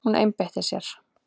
Hún einbeitti sér.